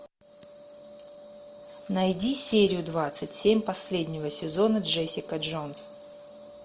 найди серию двадцать семь последнего сезона джессика джонс